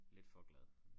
Lidt for glad